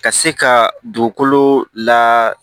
Ka se ka dugukolo la